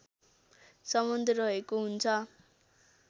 सम्बन्ध रहेको हुन्छ